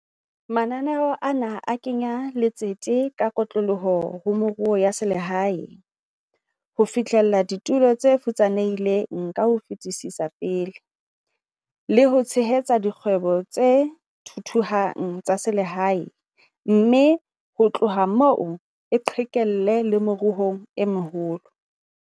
Mananeo ana a kenya letsete ka kotloloho ho meruo ya selehae, ho fihlella ditulo tse futsanehileng ka ho fetisetsa pele, le ho tshehetsa dikgwebo tse thuthuhang tsa selehae mme ho tloha moo e qhekelle le meruong e meholo.